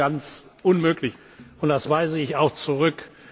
Das ist ganz unmöglich, und das weise ich auch zurück.